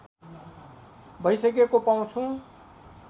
भइसकेको पाउँछु